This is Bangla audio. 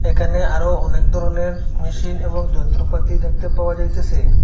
এখানে আরো অনেক ধরনের মেশিন এবং যন্ত্রপাতি দেখতে পাওয়া যাইতেছে।